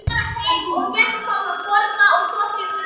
Maður er að spara líkamann til að vera klár í leikinn.